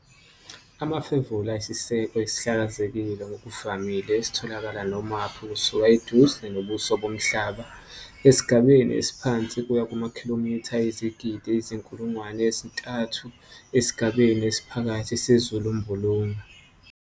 Amafemvula anesiseko esihlakazekile ngokuvamile esitholakala nomaphi kusuka eduze nobuso bomhlaba esigabeni esiphansi kuya kumakhilomitha ayizigidi eziyizinkulungwane ezintathu, 3000, esigabeni esiphakathi sezulumbulunga.